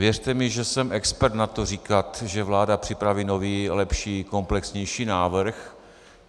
Věřte mi, že jsem expert na to říkat, že vláda připraví nový, lepší, komplexnější návrh.